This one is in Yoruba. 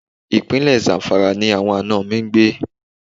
Ìpínlẹ̀ Zamfara ni àwọn àna mi ń gbé.